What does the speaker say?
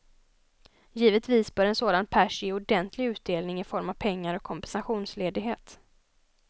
Givetvis bör en sådan pärs ge ordentlig utdelning i form av pengar och kompensationsledighet.